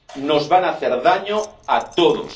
Nos van a hacer daño a todos.